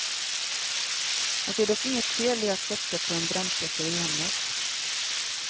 Han ser dock inget fel i att satsa på en brandsläckare i hemmet.